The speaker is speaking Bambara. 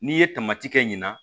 N'i ye tamatikɛ ɲinan